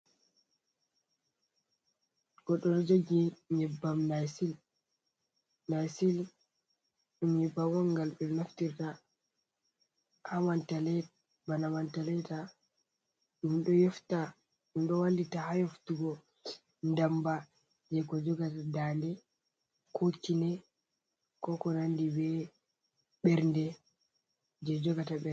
Goɗɗo ɗo Jogi nyebbam nycil, ɗum nyebbam on ngal ɓe naftirta Bana Mentholated ɗum ɗo wallita ha yaftugo ndamba je ko jogata dande ko kine ko konandi be ɓernde be ko nandi ɓernde.